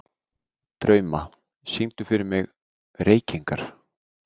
Drauma, syngdu fyrir mig „Reykingar“.